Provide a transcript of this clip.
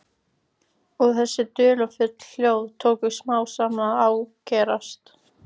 Og þessi dularfullu hljóð tóku smám saman að ágerast.